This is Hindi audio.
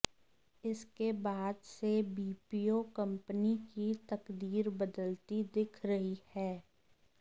इसके बाद से बीपीओ कंपनी की तकदीर बदलती दिख रही है